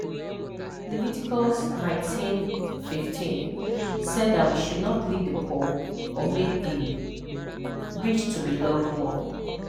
Leviticus 19:15 said that we should not leave the poor or make the rich to be loved more